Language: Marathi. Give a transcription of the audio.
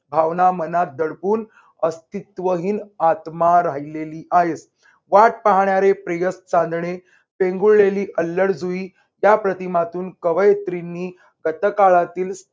भावना मनात दडपून अस्तित्वहीन आत्मा राहिलेली आहेस. वाट पाहणारे प्रियस चांदणे पेंगुळलेली अल्लड जुई या प्रतिमातून कवयित्रींनी कथ काळातील